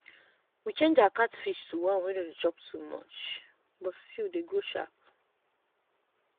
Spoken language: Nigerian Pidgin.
we change our catfish to one wey no dey chop too much but still dey grow sharp.